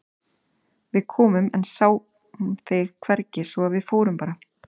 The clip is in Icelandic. Við komum en sáum þig hvergi svo að við fórum bara.